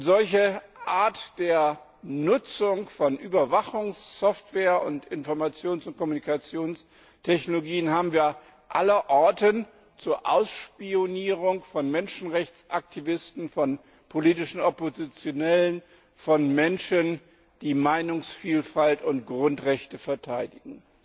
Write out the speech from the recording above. Solche Art der Nutzung von Überwachungssoftware und Informations und Kommunikationstechnologien haben wir allerorten zur Ausspionierung von Menschenrechtsaktivisten, von politischen Oppositionellen, von Menschen, die Meinungsvielfalt und Grundrechte verteidigen.